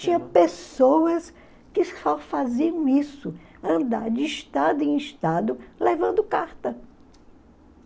Tinha pessoas que só faziam isso, andar de estado em estado levando carta.